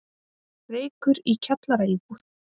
Reykur í kjallaraíbúð